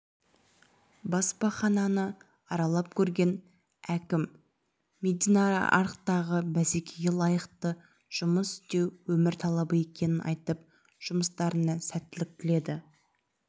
баспахананы аралап көрген әкім медианарықтағы бәсекеге лайықты жұмыс істеу өмір талабы екенін айтып жұмыстарына сәттілік тіледі